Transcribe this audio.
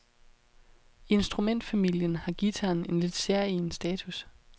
I instrumentfamilien har guitaren en lidt særegen status.